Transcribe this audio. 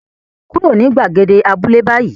Kúrò ní gbàgede abúlé báyìí